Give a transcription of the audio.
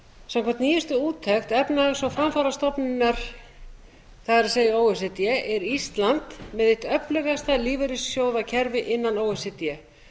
samkvæmt nýjustu úttekt efnahags og framfarastofnunar það er o e c d er ísland með eitt öflugasta lífeyrissjóðakerfi innan o e c d